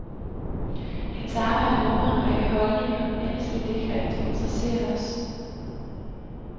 Hans arbejde rummer en række holdninger, ellers ville det ikke rigtig interessere os.